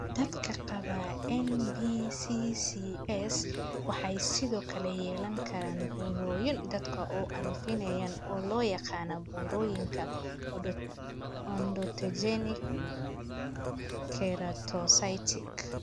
Dadka qaba NBCCS waxay sidoo kale yeelan karaan burooyin daanka oo aan fiicneyn oo loo yaqaan burooyinka odontogenic keratocystic.